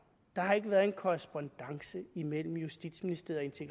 der har ikke været en korrespondance imellem justitsministeriet